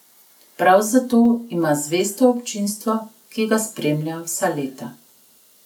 Prav zato ima zvesto občinstvo, ki ga spremlja vsa leta.